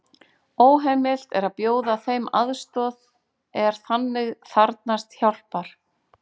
Óheimilt er að bjóða þeim aðstoð er þannig þarfnast hjálpar.